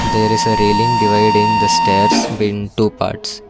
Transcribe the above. there is railing diving the stairs been two parts.